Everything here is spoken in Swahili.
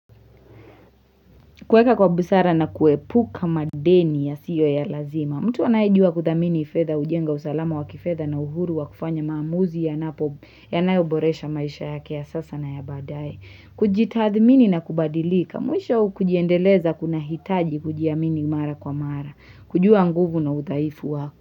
Kuweka kwa busara na kuepuka madeni yasiyo ya lazima. Mtu anayejua kuthamini fedha ujenga usalama wa kifedha na uhuru wa kufanya maamuzi yanapo yanayoboresha maisha yake ya sasa na ya baadae. Kujitathmini na kubadilika. Mwisho kujiendeleza kuna hitaji kujiamini mara kwa mara. Kujua nguvu na udhaifu wako.